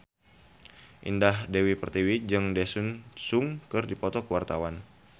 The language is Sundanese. Indah Dewi Pertiwi jeung Daesung keur dipoto ku wartawan